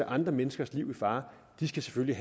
andre menneskers liv i fare selvfølgelig